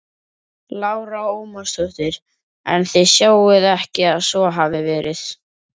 Lára Ómarsdóttir: En þið sjáið ekki að svo hafi verið?